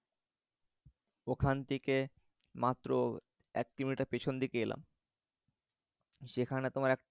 ওখান থেকে মাত্র এক কিলোমিটার পিছন দিকে এলাম। সেখানে তোমার এক